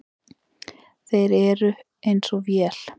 Þeir eru eins og vél.